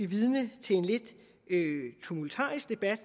vidne til en lidt tumultarisk debat